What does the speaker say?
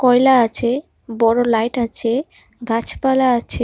কয়লা আছে বড় লাইট আছে গাছপালা আছে।